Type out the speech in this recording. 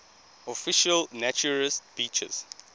official naturist beaches